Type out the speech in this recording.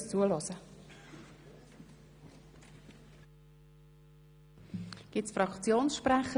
Wer den Tätigkeitsbericht zur Kenntnis nehmen möchte, stimmt ja, wer die Kenntnisnahme ablehnt, stimmt nein.